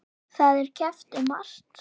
Það er keppt um margt.